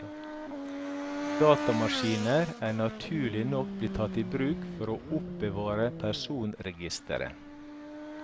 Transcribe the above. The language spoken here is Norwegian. Datamaskiner er naturlig nok blitt tatt i bruk for å oppbevare personregistere.